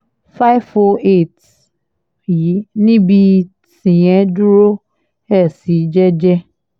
five hundred and eight yi níbi tíyẹn dúró ẹ̀ sí jẹ́ẹ́jẹ́